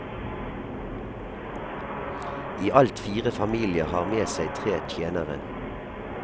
I alt fire familier har med seg tre tjenere.